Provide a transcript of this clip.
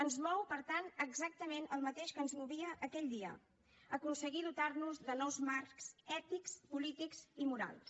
ens mou per tant exactament el mateix que ens movia aquell dia aconseguir dotar nos de nous marcs ètics polítics i morals